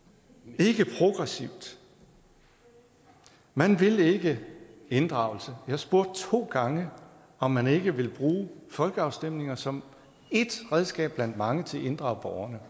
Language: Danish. og ikke progressivt man vil ikke inddragelse jeg spurgte to gange om man ikke ville bruge folkeafstemninger som et redskab blandt mange til at inddrage borgerne